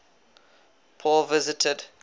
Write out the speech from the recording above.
paul visited